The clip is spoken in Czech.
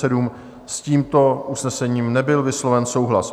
S tímto usnesením nebyl vysloven souhlas.